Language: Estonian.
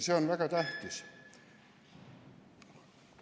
See on väga tähtis.